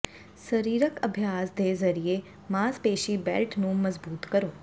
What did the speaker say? ਸਰੀਰਕ ਅਭਿਆਸ ਦੇ ਜ਼ਰੀਏ ਮਾਸਪੇਸ਼ੀ ਬੈਲਟ ਨੂੰ ਮਜ਼ਬੂਤ ਕਰੋ